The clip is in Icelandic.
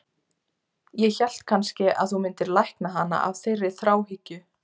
Ég hélt kannske að þú myndir lækna hana af þeirri þráhyggju.